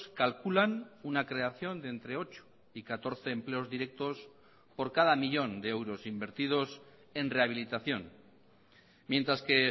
calculan una creación de entre ocho y catorce empleos directos por cada millón de euros invertidos en rehabilitación mientras que